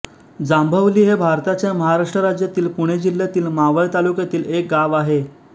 जांभवली हे भारताच्या महाराष्ट्र राज्यातील पुणे जिल्ह्यातील मावळ तालुक्यातील एक गाव आहे